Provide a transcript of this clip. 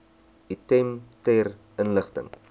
item ter inligting